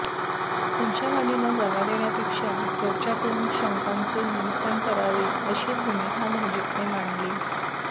संशयवाढीला जागा देण्यापेक्षा चर्चा करुन शंकांचे निरसन करावे अशी भूमिका भाजपने मांडली